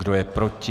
Kdo je proti?